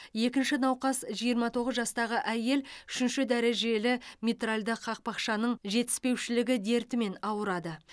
екінші науқас жиырма тоғыз жастағы әйел үшінші дәрежелі митральді қақпақшаның жетіспеушілігі дертімен ауырады